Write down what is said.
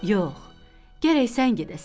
Yox, gərək sən gedəsən.